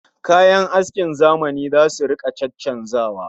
Kayan askin zamani zasu rika caccanzawa